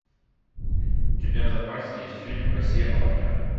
у тебя в запасе есть фильм россия молодая